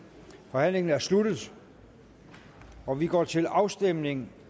forhandlingen er sluttet og vi går til afstemning